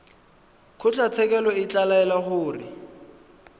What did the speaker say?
kgotlatshekelo e ka laela gore